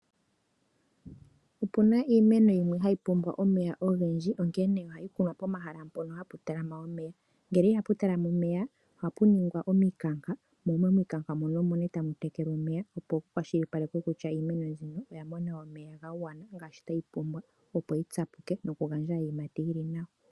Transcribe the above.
Opuna iimeno yimwe hai pumbwa omeya ogendji onkene ohai kunwa pomahala mpono hapu talama omeya, nongele ihapu talama omeya ohapu ningwa omikanka mo momikanka mono omo nee hamu tekelwa omeya opo ku kwashilipalekwe kutya iimeno ayihe oyamona omeya ga gwana ngaashi sha pumbiwa opo yi tsapuke yo yi gandje iiyimati yili nawa.